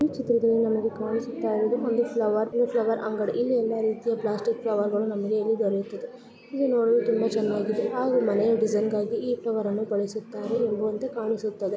ಈ ಚಿತ್ರದಲ್ಲಿ ನಮಗೆ ಕಾಣಿಸುತ್ತಿರುವುದು ಒಂದು ಫ್ಲವರ್ ಒಂದು ಫ್ಲವರ್ ಅಂಗಡಿ ಇಲ್ಲಿ ಎಲ್ಲ ರೀತಿಯ ಪ್ಲಾಸ್ಟಿಕ್ ಫ್ಲವರ್